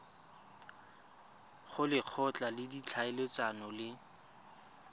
go lekgotla la ditlhaeletsano le